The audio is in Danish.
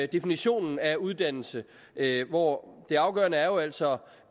definitionen af uddannelse hvor det afgørende jo altså